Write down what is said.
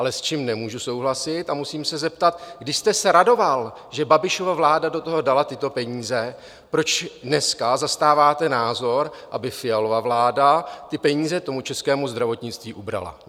Ale s čím nemůžu souhlasit a musím se zeptat, když jste se radoval, že Babišova vláda do toho dala tyto peníze, proč dneska zastáváte názor, aby Fialova vláda ty peníze tomu českému zdravotnictví ubrala?